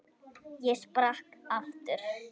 Ég sprakk aftur.